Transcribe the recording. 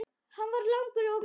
Hann var langur og mjór.